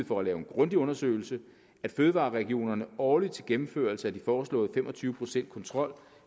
for at lave en grundig undersøgelse at fødevareregionerne årligt til gennemførelse af den foreslåede fem og tyve procents kontrol